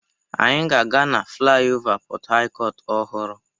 Anyị ga-aga na flaịọvá Port Harcourt ọhụrụ.